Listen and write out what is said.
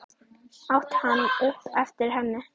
át hann upp eftir henni.